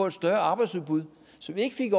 et større arbejdsudbud så vi ikke fik